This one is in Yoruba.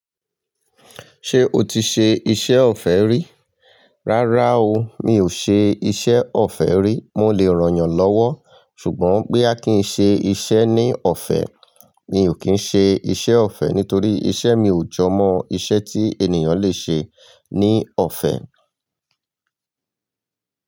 Ṣé o ti ṣe iṣẹ́ ọ̀fẹ́ rí? Rárá o, mi ò ṣe iṣẹ́ ọ̀fẹ́ rí. Mo lè ràn yàn lọ́wọ́ ṣùgbọ́n bóyá kí n ṣe iṣẹ́ ní ọ̀fẹ́, mi ò kín ṣe iṣẹ́ ọ̀fẹ́ nítorí iṣẹ́ mi ò jọ mọ iṣẹ́ tí ènìyàn lè ṣe ní ọ̀fẹ́.